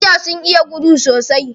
Cheaters sun iya gudu sosai.